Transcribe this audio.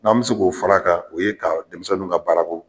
N'an mɛ se o k'o fara a kan u ye ka denmisɛnninw ka baarako